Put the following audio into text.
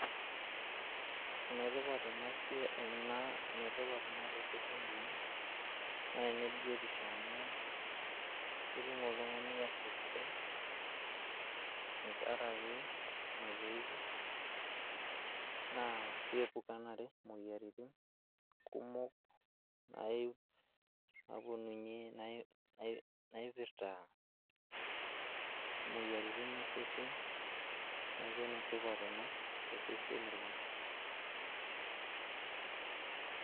Enetipat ena siai ene tipat ena tooseseni lang naa ene biotisho amu ketum oltungani afya sidai tenkaraki masoesi naa keepukanare imoyiaritin kumok napuoninye ,naipirta imoyiaritin osesen ,niaku ene tipat ena tooseseni lang .